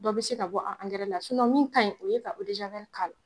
Dɔ be se ka bɔ a angɛrɛ la sinɔn min kaɲi o ye ka odezawɛli k'ala